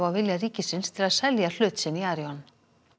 á vilja ríkisins til að selja hlut sinn í Arion